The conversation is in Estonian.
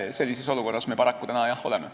Sellises olukorras me paraku täna, jah, oleme.